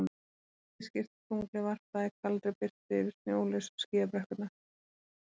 Það var heiðskírt og tunglið varpaði kaldri birtu yfir snjólausar skíðabrekkurnar.